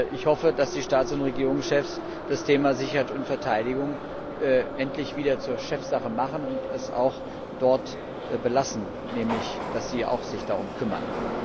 Ich hoffe, dass die Staats und Regierungschefs das Thema Sicherheit und Verteidigung endlich wieder zur Chefsache machen und es auch dort belassen, nämlich dass sie sich auch darum kümmern.